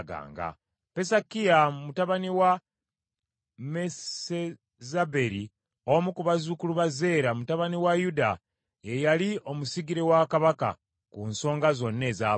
Pesakiya mutabani wa Mesezaberi, omu ku bazzukulu ba Zeera mutabani wa Yuda, ye yali omusigire wa Kabaka, ku nsonga zonna ez’abantu.